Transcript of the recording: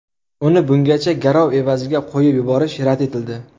Uni bungacha garov evaziga qo‘yib yuborish rad etildi.